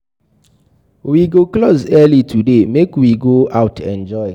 We go close early today .make we go out enjoy